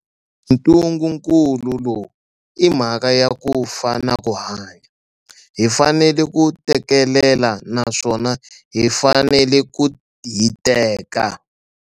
Ntungunkulu lowu I mhaka ya ku fa na ku hanya. Hi fanele ku tekelela naswona hi fanele ku hiteka.